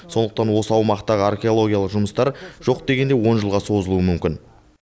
сондықтан осы аумақтағы археологиялық жұмыстар жоқ дегенде он жылға созылуы мүмкін